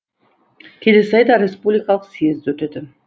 келесі айда республикалық съезд өтеді